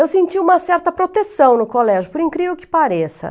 Eu senti uma certa proteção no colégio, por incrível que pareça.